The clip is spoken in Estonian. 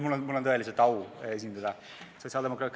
Mul on tõeline au esindada sotsiaaldemokraate.